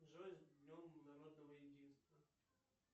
джой с днем народного единства